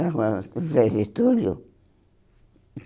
para a rua acho que Zé Getúlio.